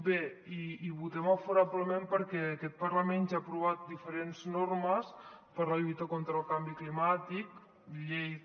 bé hi votem favorablement perquè aquest parlament ja ha aprovat diferents normes per a la lluita contra el canvi climàtic llei que